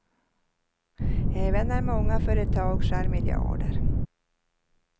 Även när många företag skär miljarder.